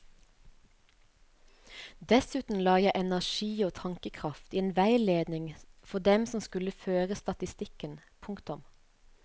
Dessuten la jeg energi og tankekraft i en veiledning for dem som skulle føre statistikken. punktum